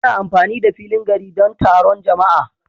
Ana amfani da filin gari don taron jama'a